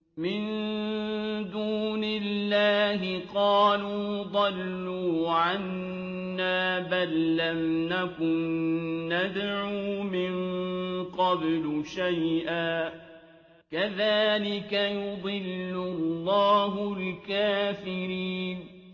مِن دُونِ اللَّهِ ۖ قَالُوا ضَلُّوا عَنَّا بَل لَّمْ نَكُن نَّدْعُو مِن قَبْلُ شَيْئًا ۚ كَذَٰلِكَ يُضِلُّ اللَّهُ الْكَافِرِينَ